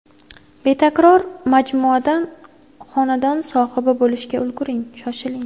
Betakror majmuadan xonadon sohibi bo‘lishga ulguring Shoshiling!